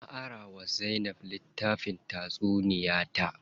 Na ara wa Zainab litttafin tatsuniya ta.